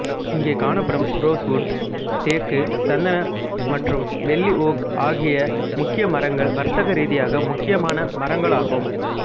இங்கே காணப்படும் ரோஸ்வுட் தேக்கு சந்தன மற்றும் வெள்ளி ஓக் ஆகிய முக்கிய மரங்கள் வர்த்தக ரீதியாக முக்கியமான மரங்களாகும்